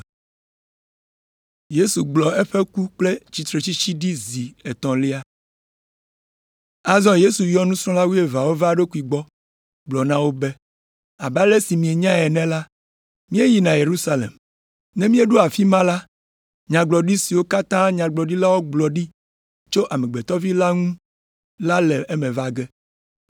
Azɔ Yesu yɔ nusrɔ̃la wuieveawo va eɖokui gbɔ, gblɔ na wo be, “Abe ale si mienyae ene la, míeyina Yerusalem. Ne míeɖo afi ma la, nyagblɔɖi siwo katã nyagblɔɖilawo gblɔ ɖi tso Amegbetɔ Vi la ŋu la le eme va ge.